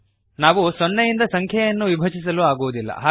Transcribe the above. ನಾವು zeroನಿಂದ ಸಂಖ್ಯೆಯನ್ನು ವಿಭಜಿಸಲು ಆಗುವುದಿಲ್ಲ